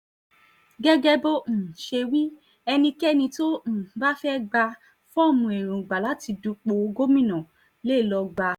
gẹ́gẹ́ bó um ṣe wí ẹnikẹ́ni tó um bá fẹ́ẹ́ gba fọ́ọ̀mù èròǹgbà láti dúpọ̀ gómìnà lé lọ́ọ gbà á